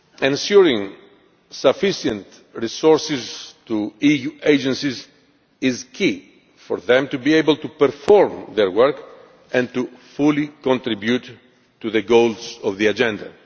course, ensuring sufficient resources to EU agencies is crucial for them to be able to perform their work and to fully contribute to the goals of the agenda.